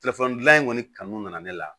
Telefɔni gilan in kɔni kanu nana ne la